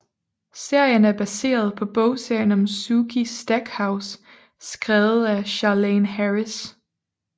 Serien er baseret på bogserien om Sookie Stackhouse skrevet af Charlaine Harris